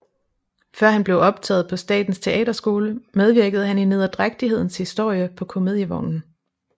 Før han blev optaget på Statens Teaterskole medvirkede han i Nederdrægtighedens Historie på Comedievognen